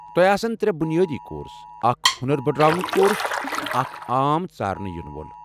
تۄہہ آسن ترٛےٚ بُنِیٲدی کورس، اکھ ہونر بڈراونُك کورس، تہٕ اکھ عام ژارنہٕ یِنہٕ وول ۔